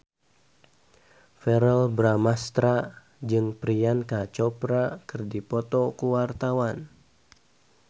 Verrell Bramastra jeung Priyanka Chopra keur dipoto ku wartawan